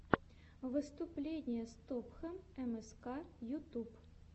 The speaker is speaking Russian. выступление стопхам мск ютуб